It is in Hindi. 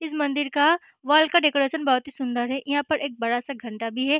इस मंदिर का वॉल का डेकोरेशन बहुत ही सुंदर है यहाँ पे एक बड़ा सा घंटा भी है।